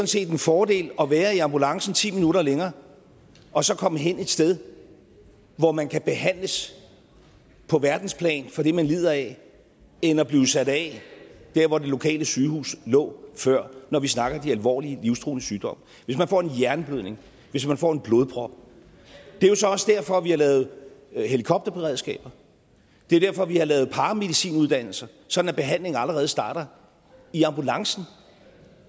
set er en fordel at være i ambulancen ti minutter længere og så komme hen et sted hvor man kan behandles på verdensplan for det man lider af end at blive sat af der hvor det lokale sygehus lå før når vi snakker om de alvorlige livstruende sygdomme hvis man får en hjerneblødning hvis man får en blodprop det er jo så også derfor at vi har lavet helikopterberedskaber det er derfor vi har lavet paramedicinuddannelser sådan at behandlingen allerede starter i ambulancen